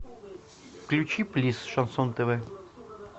включи плиз шансон тв